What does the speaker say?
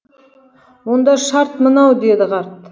онда шарт мынау деді қарт